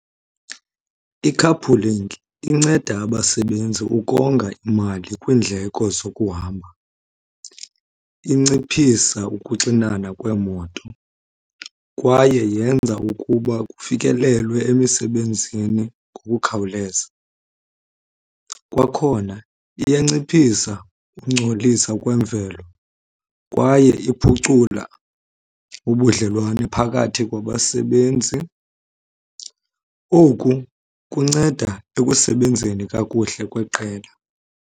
I-carpooling inceda abasebenzi ukonga imali kwiindleko zokuhamba, inciphisa ukuxinana kweemoto, kwaye yenza ukuba kufikelelwe emisebenzini ngokukhawuleza. Kwakhona iyanciphisa ukungcolisa kwemvelo kwaye iphucula ubudlelwane phakathi kwabasebenzi. Oku kunceda ekusebenzeni kakuhle kweqela.